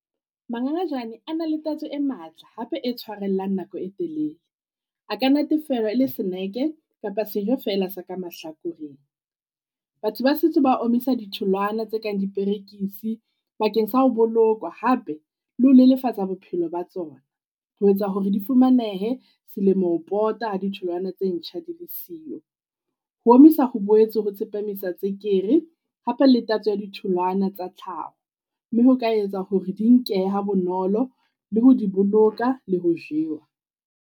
Mangangajane a na le tatso e matla, hape e tshwarellang nako e telele. A ka natefelwa e le snack-e kapa sejo feela se ka mahlakoreng. Batho ba setse ba omisa ditholwana tse kang diperekisi bakeng sa ho bolokwa hape le ho lelefatsa bophelo ba tsona. Ho etsa hore di fumanehe selemo ho pota ha ditholwana tse ntjha di le siyo. Ho omisa ho boetse ho tsepamisa tswekere hape le tatso ya ditholwana tsa tlhaho. Mme ho ka etsa hore di nkehe ha bonolo le ho di boloka le ho jewa.